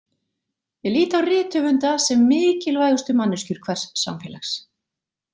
Ég lít á rithöfunda sem mikilvægustu manneskjur hvers samfélags.